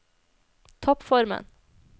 toppformen